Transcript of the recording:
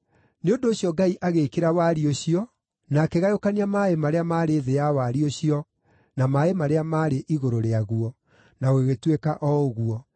Nĩ ũndũ ũcio Ngai agĩĩkĩra wariĩ ũcio na akĩgayũkania maaĩ marĩa maarĩ thĩ ya wariĩ ũcio na maaĩ marĩa maarĩ igũrũ rĩaguo. Na gũgĩtuĩka o ũguo.